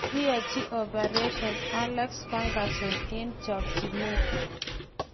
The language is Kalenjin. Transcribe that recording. Kokiachi opereshon Alex Furgason eng' chakchinet.